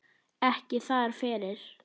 Ekki þar fyrir.